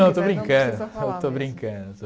não, estou brincando, eu estou brincando